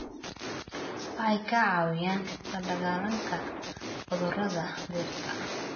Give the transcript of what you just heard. Waxay ka caawiyaan la dagaalanka cudurada dhirta.